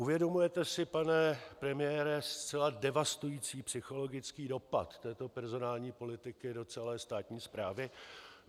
Uvědomujete si, pane premiére, zcela devastující psychologický dopad této personální politiky do celé státní správy?